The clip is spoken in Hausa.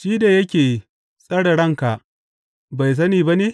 Shi da yake tsare ranka bai sani ba ne?